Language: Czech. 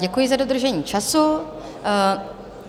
Děkuji za dodržení času.